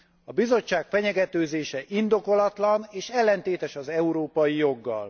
A Bizottság fenyegetőzése indokolatlan és ellentétes az európai joggal.